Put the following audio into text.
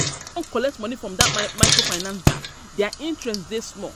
I don collect money from dat microfinance bank, their interest dey small.